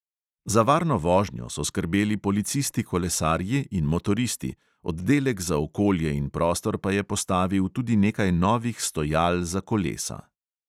Za varno vožnjo so skrbeli policisti kolesarji in motoristi, oddelek za okolje in prostor pa je postavil tudi nekaj novih stojal za kolesa.